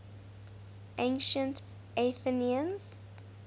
ancient athenians